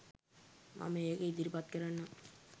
මම ඒක ඉදිරිපත්කරන්නම්